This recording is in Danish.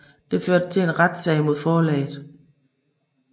Det førte til en retssag mod forlaget